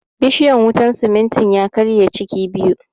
Bishiyan wutan simintin ya karshe ciki biyu